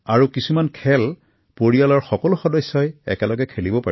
আৰু কিছুমান খেল পৰিয়ালৰ সকলো লোকে একেলগে খেলিব পাৰিছিল